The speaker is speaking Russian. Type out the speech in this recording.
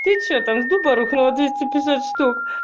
ты что там с дуба рухнула двести пятьдесят штук